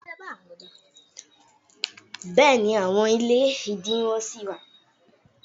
béèni, àwọn ilé idinwo si wa